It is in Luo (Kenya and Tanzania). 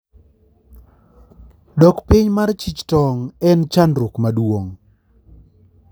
dok piny mar chich tong en shida maduong